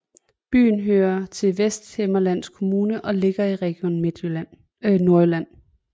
Byen hører til Vesthimmerlands Kommune og ligger i Region Nordjylland